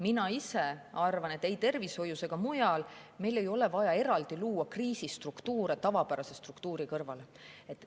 Mina ise arvan, et ei tervishoius ega mujal ei ole meil vaja luua eraldi kriisistruktuure tavapärase struktuuri kõrvale.